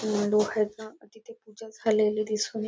तिथे पूजा झालेली दिसून ये--